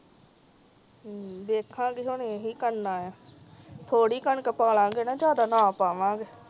ਹਮ ਕਿਸੇ ਨੇ ਏ ਹੀ ਕਰਨ ਆਯਾ ਥੋੜੀ ਕਣਕ ਪਾਲਾਂਗੇ ਜਾਂਦਾ ਨਾ ਪਾਵਾਂ ਗੇ